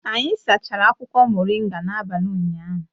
Anyị sachara akwụkwọ moringa n'abalị ụnyaahụ